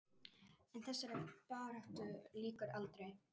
En þessari baráttu lýkur aldrei.